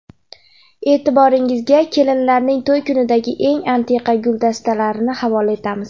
E’tiboringizga kelinlarning to‘y kunidagi eng antiqa guldastalarini havola etamiz.